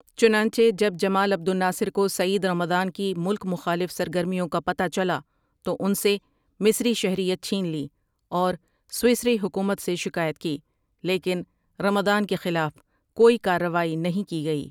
چنانچہ جب Jamal Abdel Nasser کو سعید رمضان کی ملک مخالف سرگرمیوں کا پتہ چلا تو ان سے مصری شہریت چھین لی اور سویسری حکومت سے شکایت کی لیکن رمضان کے خلاف کوئی کارروائی نہیں کی گئی۔